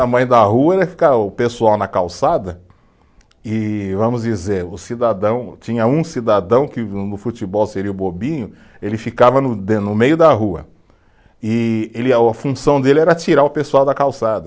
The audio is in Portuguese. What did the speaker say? A mãe da rua era ficar o pessoal na calçada e, vamos dizer, o cidadão, tinha um cidadão que no no futebol seria o bobinho, ele ficava no de, no meio da rua e ele é, a função dele era tirar o pessoal da calçada.